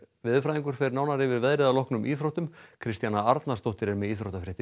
veðurfræðingur fer nánar yfir veðrið að loknum íþróttum Kristjana Arnarsdóttir er með íþróttafréttir